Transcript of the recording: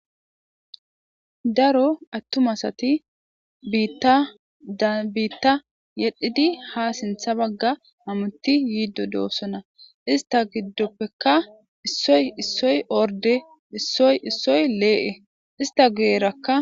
Daro attumasatibitadabiitta yedhidi ha sintha bagga amutti yiiddo doossona ista giddoppeka isoy issoy orde isoyissoy lee7e ista guyerakka.